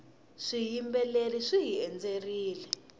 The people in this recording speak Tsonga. swiyimbeleri swihi endzerile